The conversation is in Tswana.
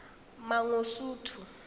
mangosuthu